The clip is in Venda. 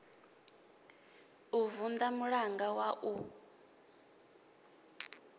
u vunḓa mulanga wa u